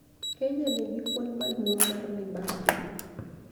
Kenya nigi kwan maduong' mar mibadhi.